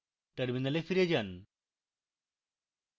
terminal ফিরে যান